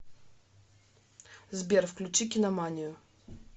сбер включи киноманию